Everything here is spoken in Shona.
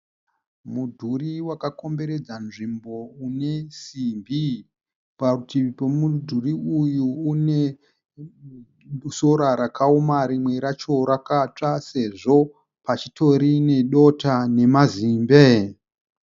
Mudhuri wakakomberedzwa nzvimbo une simbi. Parutivi pemudhuri uyu une sora rakaoma rimwe racho rakatsva sezvo pachitori nedota nemazimbe.